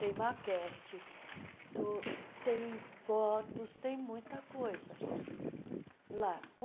Tem maquete, tu tem fotos, tem muita coisa lá.